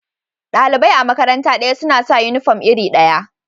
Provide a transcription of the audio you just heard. Dalibai a'makaranta daya suna sa uniform iri daya.